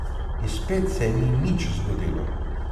In spet se ni nič zgodilo.